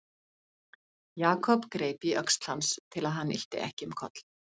Jakob greip í öxl hans til að hann ylti ekki um koll.